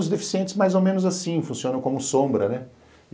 Os deficientes mais ou menos assim, funcionam como sombra, né?